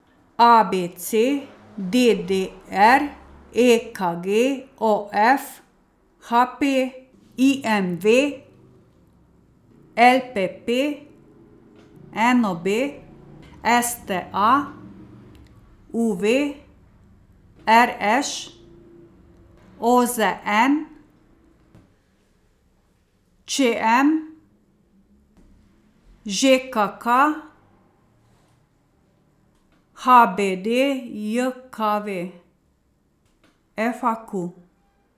A B C; D D R; E K G; O F; H P; I M V; L P P; N O B; S T A; U V; R Š; O Z N; Č M; Ž K K; H B D J K V; F A Q.